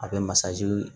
A bɛ masajini